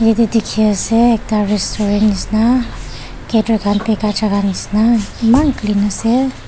yatey dikhiase ekta restaurant nishina gater khan bikai jagah nishina maan clean ase.